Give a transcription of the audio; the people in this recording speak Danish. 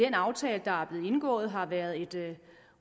aftale der er blevet indgået har været en